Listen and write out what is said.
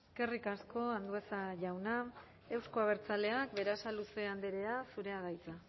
eskerrik asko andueza jauna euzko abertzaleak berasaluze andrea zurea da hitza